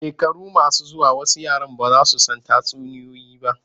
Shekaru masu zuwa wasu yaran ba za su san tatsuniyoyi ba.